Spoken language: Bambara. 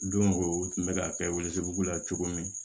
Don o don u tun bɛ ka kɛ ko la cogo min